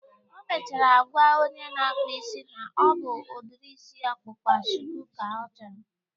O mechara gwaa onye na-akpa isi na ọ bụ udiri isi ọkpụkpa shuku ka ya chọrọ